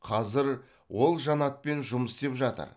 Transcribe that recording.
қазір ол жанатпен жұмыс істеп жатыр